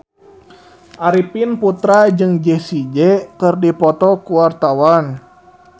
Arifin Putra jeung Jessie J keur dipoto ku wartawan